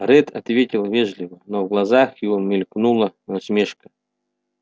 ретт ответил вежливо но в глазах его мелькнула насмешка